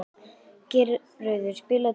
Geirröður, spilaðu tónlist.